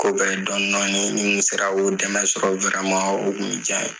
Ko bɛɛ ye dɔɔnin dɔɔnin ye ni n tun sera k'o dɛmɛ sɔrɔ o tun bɛ diya n ye